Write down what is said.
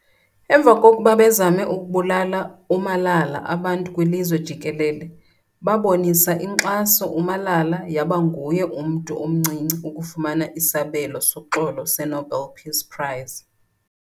Emva kokuba bezame ukubulala uMalala abantu kwilizwe jikelele babonisa inkxaso uMalala yaba nguyena mntu omncinci ukufumana isabelo soxolo Nobel Peace Prize